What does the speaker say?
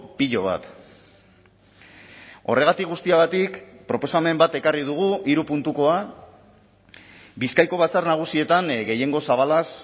pilo bat horregatik guztiagatik proposamen bat ekarri dugu hiru puntukoa bizkaiko batzar nagusietan gehiengo zabalaz